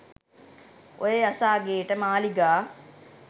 ඔය යස අගේට මාලිගා